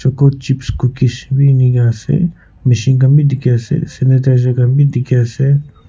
chips cookies be ineka ase mishin khan be dikhi ase sanitizer khan be dikhi ase.